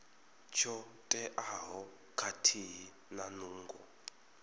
tsho teaho khathihi na nungo